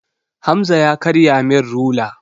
Hamza ya karya min rula.